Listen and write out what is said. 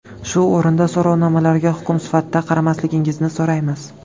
Shu o‘rinda so‘rovnomalarga hukm sifatida qaramasligingizni so‘raymiz.